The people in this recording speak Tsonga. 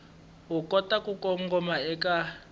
u kota ku kongoma eka